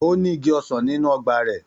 Ó ní igi ọsàn nínú ọgbà rẹ̀.